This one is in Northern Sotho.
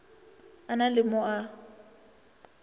a na le mo a